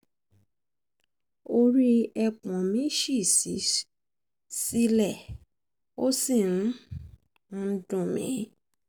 orí ẹpọ̀n mi ṣì sí sílẹ̀ ó sì um ń dùn mí um